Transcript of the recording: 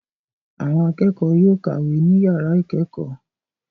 Àwọn akẹ́kọ̀ọ́ yóò kàwé ní ìyàrá ìkẹ́kọ̀ọ́.